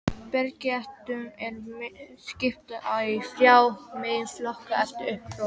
Bergtegundum er skipt í þrjá meginflokka eftir uppruna